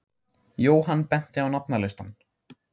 Jóhann benti á nafnalistann.